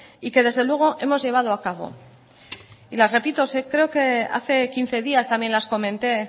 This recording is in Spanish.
y que desde luego hemos llevado a cabo y las repito creo que hace quince días también las comenté